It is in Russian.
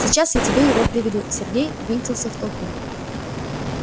сейчас я тебе его приведу и сергей ввинтился в толпу